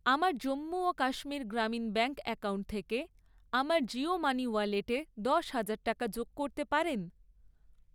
আমার জম্মু ও Kashmir Grameen bank account থেকে আমার জিও মানি ওয়ালেটে দশ হাজার টাকা যোগ করতে পারেন?